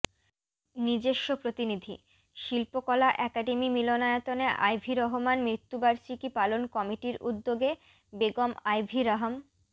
নিজেস্ব প্রতিনিধিঃ শিল্পকলা একাডেমী মিলনায়তনে আইভি রহমান মৃত্যুবার্ষিকী পালন কমিটির উদ্যোগে বেগম আইভি রহম